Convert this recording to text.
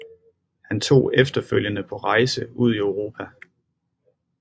Han tog efterfølgende på rejse ud i Europa